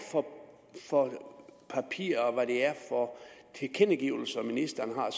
for papirer og tilkendegivelser ministeren